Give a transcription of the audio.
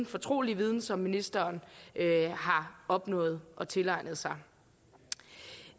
fortrolige viden som ministeren har opnået og tilegnet sig